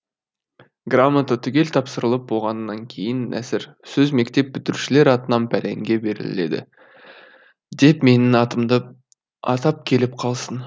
грамота түгел тапсырылып болғаннан кейін нәсір сөз мектеп бітірушілер атынан пәленге беріледі деп менің атымды атап келіп қалсын